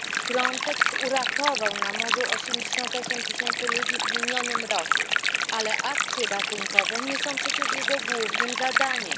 Frontex uratował na morzu 88 tysięcy ludzi w minionym roku, ale akcje ratunkowe nie są przecież jego głównym zadaniem.